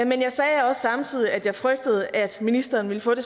men jeg sagde også samtidig at jeg frygtede at ministeren ville få det